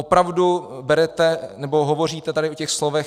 Opravdu berete, nebo hovoříte tady o těch slovech...